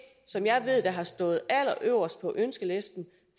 som jeg ved har stået allerøverst på ønskelisten